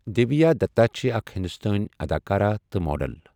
دِوِیا دتا چھے٘ اكھ ہِندوستٲنۍ اداكارا تہٕ ماڈل ۔